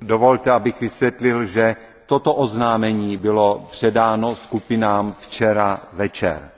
Dovolte, abych vysvětlil, že toto oznámení bylo předáno skupinám včera večer,